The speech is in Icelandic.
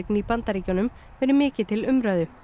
í Bandaríkjunum verið mikið til umræðu